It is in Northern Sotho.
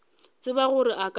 tseba gore a ka se